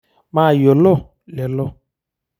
Maayiolo lelo.